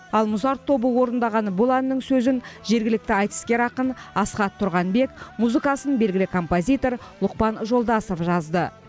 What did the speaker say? ал музарт тобы орындаған бұл әннің сөзін жергілікті айтыскер ақын асхат тұрғанбек музыкасын белгілі композитор ұлықпан жолдасов жазды